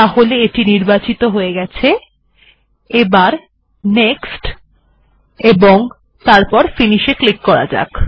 এখন এটি নির্বাচিত হয়ে গেছে নেক্সট ও তারপর ফিনিশ এ ক্লিক করা হল